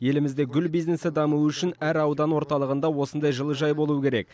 елімізде гүл бизнесі дамуы үшін әр аудан орталығында осындай жылыжай болуы керек